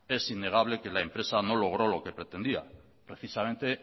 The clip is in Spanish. es innegable que la empresa no logró lo que pretendía precisamente